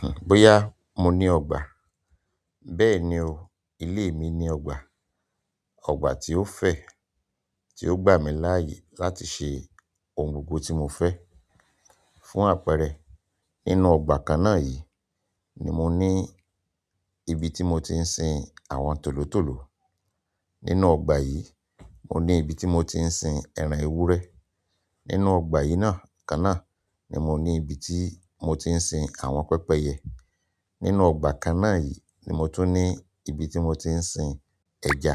Hn, bóyá mo ní ọgbà, bẹ́ẹ̀ni o, ilé mi ní ọgbà. Ọgbà tí ó fẹ̀, tí ó gbà mí láìyè láti ṣe òhùn oògùn tí mo fẹ́. Fún àpẹrẹ nínú ọgbà kàn náà yí ni mo ní ibí ti mo ti ǹ sìn àwọn tòlótòló. Nínú ọgbà yìí, mo ní ibi tí mo ti ń sin ẹran ewúrẹ́. Nínú ọgbà yìí náà kan náà ni mo ní ibi tí mo ti ń sin àwọn pẹpẹyẹ. Nínú ọgbà kan náà yìí ni mo tún ní ibi tí mo ti ń sin ẹja.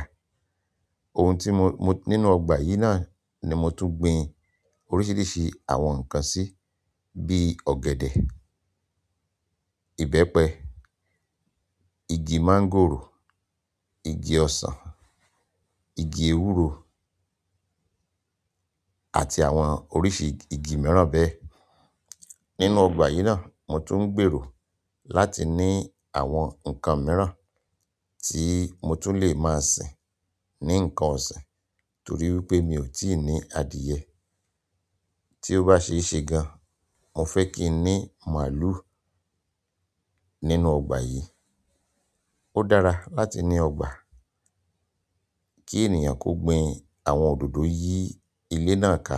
Ohun tí mo, mo-- nínú ọgbà yìí náà ni mo tún gbin oríṣiríṣi àwọn nǹkan sí, bí ọ̀gẹ̀dẹ̀, ìbẹ́pẹ, igi máńgòrò, igi ọsàn, igi ewúro àti àwọn oríṣi igi mìíràn bẹ́ẹ̀. Nínú ọgbà yìí náà, mo tún ń gbèrò láti ní àwọn nǹkan mìíràn tí mo tún lè máa sin ní nǹkan ọ̀sìn torí wípé mi ò tí ì ní adìẹ. Tí ó bá ṣe ṣé gan, mo fẹ́ kí n ní màlúù nínú ọgbà yìí. Ó dára láti ní ọgbà kí ènìyàn kó gbin àwọn òdòdó yí ilé náà ká.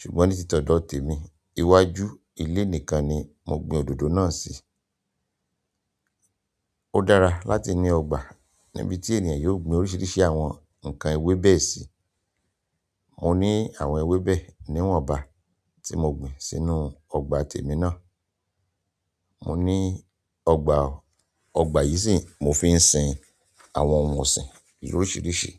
Ṣùgbọ́n ní títọ̀nọ̀ tèmi, iwájú ilé nìkan ni mo gbin òdòdó náà sí. Ó dára láti ní ọgbà níbi tí ènìyàn yóò gbin oríṣiríṣi àwọn nǹkan ewébẹ̀ sí. Mo ní àwọn ewébẹ̀ níwọ̀n ọgbà tí mo gbin sínú ọgbà tèmi náà. Mo ní ọgbà o ọgbà yi sìn mo fi ǹ sìn àwọn ohùn ọ̀sìn lorisirisi.